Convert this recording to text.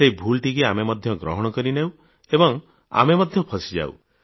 ସେହି ଭୁଲଟିକୁ ଆମେ ମଧ୍ୟ ଗ୍ରହଣ କରିଦେଉ ଏବଂ ଆମେ ମଧ୍ୟ ମରିଯାଉଁ